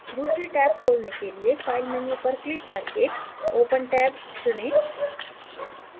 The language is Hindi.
दूसरी टैब खोलने के लिए file menu पर click करके open tab चुनें